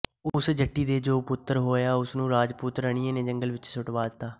ਉਸ ਜੱਟੀ ਦੇ ਜੋ ਪੁੱਤਰ ਹੋਇਆ ਉਸਨੂੰ ਰਾਜਪੂਤ ਰਾਣੀਆਂ ਨੇ ਜੰਗਲ ਵਿੱਚ ਸੁੱਟਵਾ ਦਿੱਤਾ